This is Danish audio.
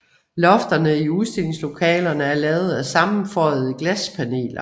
Lofterne i udstillingslokalerne er lavet af sammenføjede glaspaneler